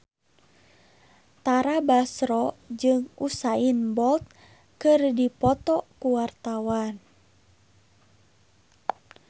Tara Basro jeung Usain Bolt keur dipoto ku wartawan